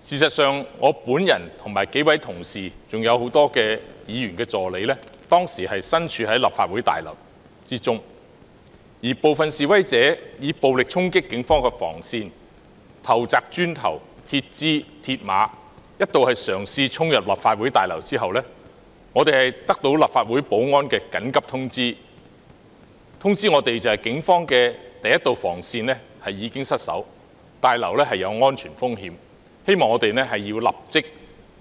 事實上，我本人和數位同事及多名議員助理當時仍身處立法會大樓內，部分示威者以暴力衝擊警方防線，投擲磚頭、鐵枝、鐵馬，一度嘗試衝入立法會大樓，其後我們接獲立法會保安的緊急通知，表示警方的第一度防線已經失守，大樓有安全風險，希望我們立即